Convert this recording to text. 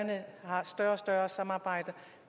være sig